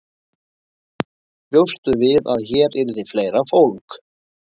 Bjóstu við að hér yrði fleira fólk?